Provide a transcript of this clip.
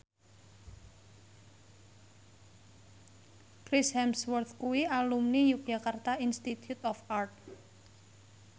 Chris Hemsworth kuwi alumni Yogyakarta Institute of Art